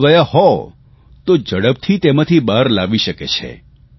અને જો ગયા હોય તો ઝડપથી તેમાંથી બહાર લાવી શકે છે